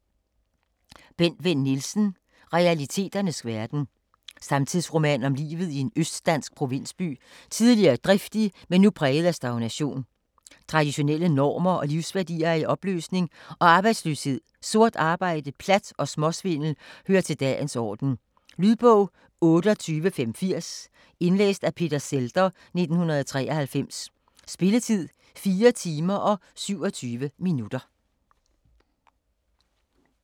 Vinn Nielsen, Bent: Realiteternes verden Samtidsroman om livet i en østdansk provinsby, tidligere driftig, men nu præget af stagnation. Traditionelle normer og livsværdier er i opløsning, og arbejdsløshed, sort arbejde, plat og småsvindel hører til dagens orden. Lydbog 28580 Indlæst af Peter Zhelder, 1993. Spilletid: 4 timer, 27 minutter.